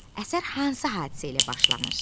Əsər hansı hadisə ilə başlanır?